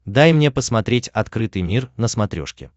дай мне посмотреть открытый мир на смотрешке